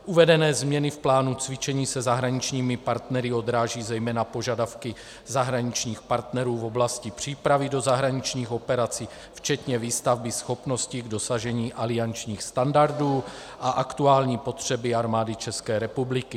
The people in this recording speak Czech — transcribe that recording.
Uvedené změny v plánu cvičení se zahraničními partnery odrážejí zejména požadavky zahraničních partnerů v oblasti přípravy do zahraničních operací včetně výstavby schopností k dosažení aliančních standardů a aktuální potřeby Armády České republiky.